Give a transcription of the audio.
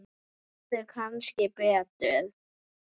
Þú hefðir kannski betur.